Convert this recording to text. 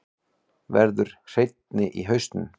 Verður hreinni í hausnum.